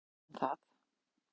Já, eitthvað gerði hún það.